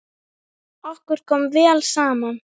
Okkur kom vel saman.